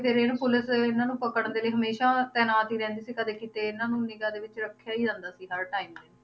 ਫਿਰ ਇਹਨੂੰ ਪੁਲਿਸ ਇਹਨਾਂ ਨੂੰ ਪਕੜਨ ਦੇ ਲਈ ਹਮੇਸ਼ਾ ਤੈਨਾਤ ਹੀ ਰਹਿੰਦੀ ਸੀ ਕਦੇ ਕਿਤੇ ਇਹਨਾਂ ਨੂੰ ਨਿਗ੍ਹਾ ਦੇ ਵਿੱਚ ਰੱਖਿਆ ਹੀ ਜਾਂਦਾ ਸੀ ਹਰ time